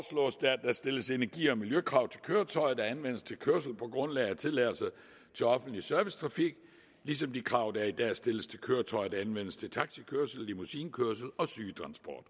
der stilles energi og miljøkrav til køretøjer der anvendes til kørsel på grundlag af tilladelser til offentlig servicetrafik ligesom de krav der i dag stilles til køretøjer der anvendes til taxikørsel limouisinekørsel og sygetransport